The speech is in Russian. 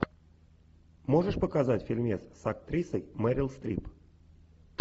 можешь показать фильмец с актрисой мэрил стрип